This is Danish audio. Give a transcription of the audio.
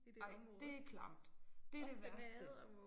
Ej det klamt. Det det værste